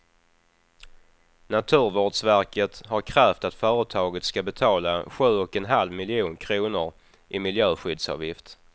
Naturvårdsverket har krävt att företaget ska betala sju och en halv miljon kronor i miljöskyddsavgift.